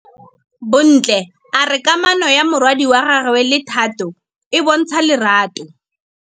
Bontle a re kamanô ya morwadi wa gagwe le Thato e bontsha lerato.